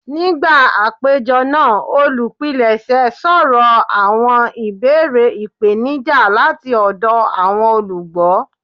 Nigba apejọ naa, olupilẹṣẹ sọrọ awọn ibeere ipenija lati ọdọ awọn olugbo.